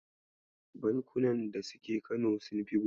Bankunan da suke Kano Sunfi 10.